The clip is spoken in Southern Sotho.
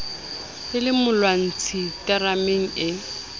e le molwantshi terameng ee